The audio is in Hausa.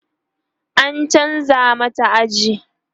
an chanza mata aji